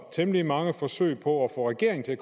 temmelig mange forsøg på at få regeringen til at